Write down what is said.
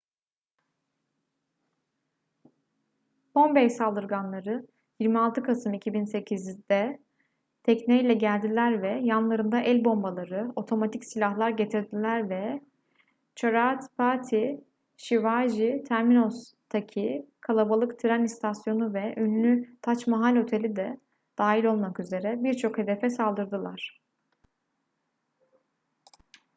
bombay saldırganları 26 kasım 2008'de tekneyle geldiler ve yanlarında el bombaları otomatik silahlar getirdiler ve chhatrapati shivaji terminus'taki kalabalık tren istasyonu ve ünlü tac mahal oteli de dahil olmak üzere birçok hedefe saldırdılar